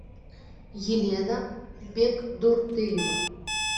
елена бекдурдыева